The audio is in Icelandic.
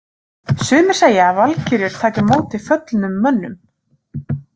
Sumir segja að valkyrjur taki á móti föllnum mönnum.